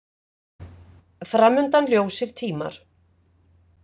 Fram undan ljósir tímar.